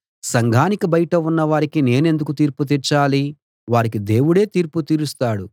సంఘానికి బయట ఉన్నవారికి నేనెందుకు తీర్పు తీర్చాలి వారికి దేవుడే తీర్పు తీరుస్తాడు